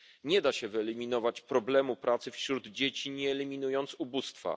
Nie da się wyeliminować problemu pracy wśród dzieci, nie eliminując ubóstwa.